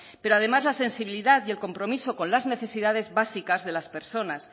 pero además la sensibilidad y el compromiso con las necesidades básicas de las personas